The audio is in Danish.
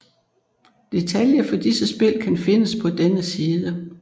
Detaljer for disse spil kan findes på denne side